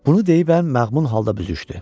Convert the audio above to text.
Bunu deyib əm məğmun halda büzüşdü.